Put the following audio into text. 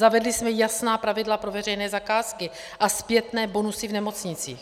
Zavedli jsme jasná pravidla pro veřejné zakázky a zpětné bonusy v nemocnicích.